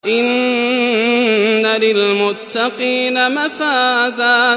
إِنَّ لِلْمُتَّقِينَ مَفَازًا